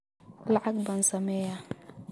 lacag baan sameeyaa